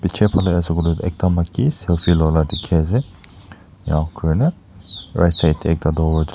chair sabo ley ekta maiki selfie loa la dikhi ase enia kuri na right side teh ekta tu--